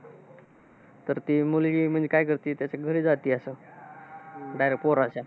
तर ती मुलगी म्हणजे काय करते, त्याच्या घरी जाते असत. direct पोराच्या.